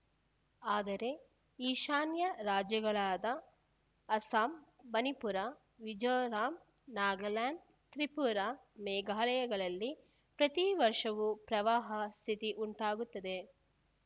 ಆದರೆ ಈಶಾನ್ಯ ರಾಜ್ಯಗಳಾದ ಅಸ್ಸಾಂ ಮಣಿಪುರ ಮಿಜೋರಾಂ ನಾಗಾಲ್ಯಾಂಡ್‌ ತ್ರಿಪುರ ಮೇಘಾಲಯಗಳಲ್ಲಿ ಪ್ರತಿ ವರ್ಷವೂ ಪ್ರವಾಹ ಸ್ಥಿತಿ ಉಂಟಾಗುತ್ತದೆ